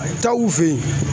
Taa u fɛ yen.